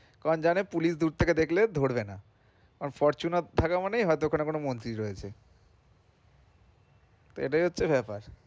কারণ জানে police দূরথেকে দেখলে ধরবে না কারণ fortuner থাকা মানেই হয়তো ওখানে কোন মন্ত্রী রয়েছে এটাই হচ্ছে ব্যাপার,